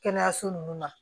Kɛnɛyaso nunnu ma